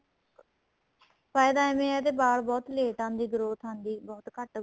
ਫਾਇਦਾ ਐਵੇ ਏ ਜੇ ਵਾਲ ਬਹੁਤ late ਆਂਦੀ growth ਆਂਦੀ growth ਆਂਦੀ ਬਹੁਤ ਘੱਟ